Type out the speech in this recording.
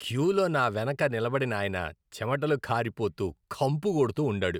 క్యూలో నా వెనక నిలబడినాయన చెమటలు కారిపోతూ, కంపు కొడుతూ ఉండాడు.